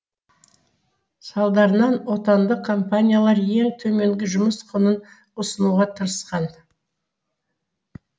салдарынан отандық компаниялар ең төменгі жұмыс құнын ұсынуға тырысқан